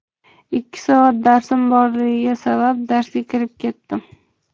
Ikkinchi soat darsim borligi sabab darsga kirib ketdim.